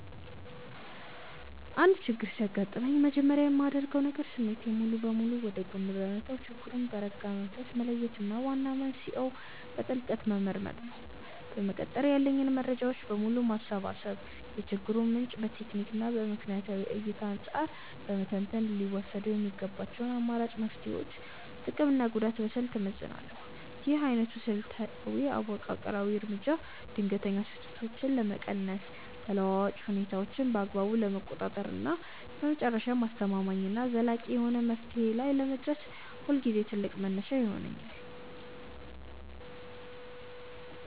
አንድ ችግር ሲያጋጥመኝ መጀመሪያ የማደርገው ነገር ስሜትን ሙሉ በሙሉ ወደ ጎን በመተው ችግሩን በረጋ መንፈስ መለየት እና ዋና መንስኤውን በጥልቀት መመርመር ነው። በመቀጠል ያሉኝን መረጃዎች በሙሉ በማሰባሰብ የችግሩን ምንጭ ከቴክኒክና ከምክንያታዊ እይታ አንጻር በመተንተን ሊወሰዱ የሚገባቸውን አማራጭ መፍትሄዎች ጥቅምና ጉዳት በስልት እመዝናለሁ። ይህ ዓይነቱ ስልታዊ እና መዋቅራዊ እርምጃ ድንገተኛ ስህተቶችን ለመቀነስ፣ ተለዋዋጭ ሁኔታዎችን በአግባቡ ለመቆጣጠር እና በመጨረሻም አስተማማኝና ዘላቂ የሆነ መፍትሄ ላይ ለመድረስ ሁልጊዜ ትልቅ መነሻ ይሆነኛል።